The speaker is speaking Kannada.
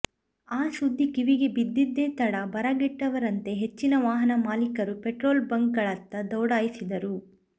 ಆ ಸುದ್ದಿ ಕಿವಿಗೆ ಬಿದ್ದದ್ದೇ ತಡ ಬರಗೆಟ್ಟವರಂತೆ ಹೆಚ್ಚಿನ ವಾಹನ ಮಾಲಿಕರು ಪೆಟ್ರೋಲ್ ಬಂಕ್ಗಳತ್ತ ದೌಡಾಯಿಸಿದರು